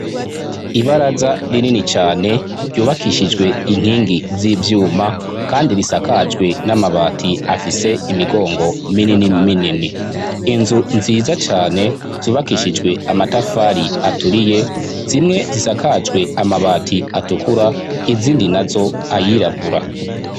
Ibaraza rinini cane ryubakishijwe inkingi z'ivyuma kandi risakajwe n'amabati afise imigongo minini minini, inzu nziza cane zubakishijwe amatafari aturiye, zimwe zisakajwe amabati atukura izindi na zo ayirabura.